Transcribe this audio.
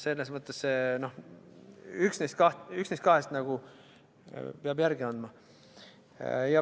Selles mõttes üks neist kahest peab järele andma.